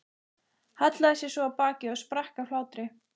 Hallaði sér svo á bakið og sprakk af hlátri.